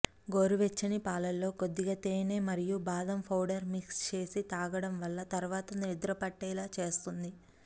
గోరువెచ్చని పాలలో కొద్దిగా తేనె మరియు బాదం పౌడర్ మిక్స్ చేసి తాగడం వల్ల తర్వాత నిద్రపట్టేలా చేస్తుంది